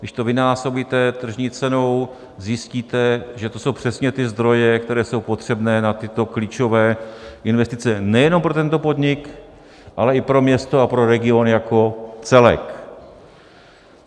Když to vynásobíte tržní cenou, zjistíte, že to jsou přesně ty zdroje, které jsou potřebné na tyto klíčové investice nejenom pro tento podnik, ale i pro město a pro regiony jako celek.